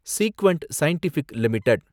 சீக்வெண்ட் Scientific limited